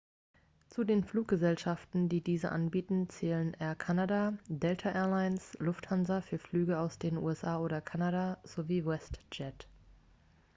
zu den fluggesellschaften die diese anbieten zählen air canada delta air lines lufthansa für flüge aus den usa oder kanada sowie westjet